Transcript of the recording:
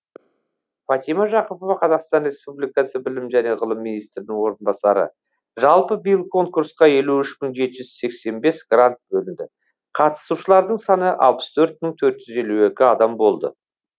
фатима жақыпова қазақстан республикасы білім және ғылым министрінің орынбасары жалпы биыл конкурсқа елу үш мың жеті жүз сексен бес грант бөлінді қатысушылардың саны алпыс төрт мың төрт жүз елу екі адам болды